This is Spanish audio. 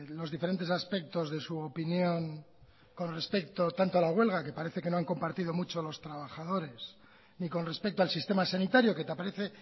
los diferentes aspectos de su opinión con respecto tanto a la huelga que parece que no han compartido mucho los trabajadores ni con respecto al sistema sanitario que parece